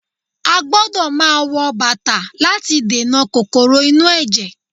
A gbọ́dọ̀ máa wọ bàtà láti dènà kòkòrò inú ẹ̀jẹ̀